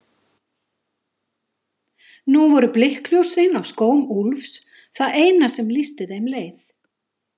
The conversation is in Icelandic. Nú voru blikkljósin á skóm Úlfs það eina sem lýsti þeim leið.